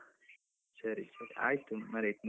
ಸರಿ ಸರಿ, ಆಯ್ತು ಮಾರೈತಿ.